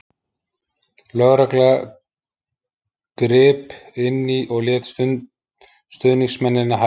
Lögregla grip inní og lét stuðningsmennina hætta.